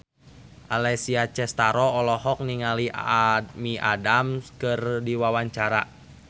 Alessia Cestaro olohok ningali Amy Adams keur diwawancara